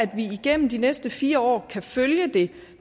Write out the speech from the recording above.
vi igennem de næste fire år kan følge det